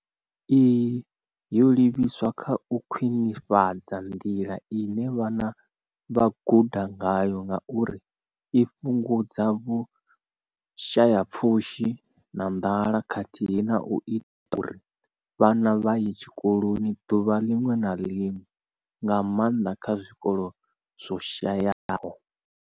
Iyi yo livhiswa kha u khwinifhadza nḓila ine vhana vha guda ngayo ngauri i fhungudza vhushayapfushi na nḓala khathihi na u ita uri vhana vha ye tshikoloni ḓuvha ḽiṅwe na ḽiṅwe, nga maanḓa kha zwikolo zwo shayaho.